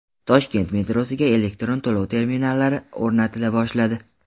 Toshkent metrosiga elektron to‘lov terminallari o‘rnatila boshladi.